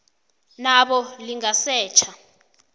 na bona lingasetjha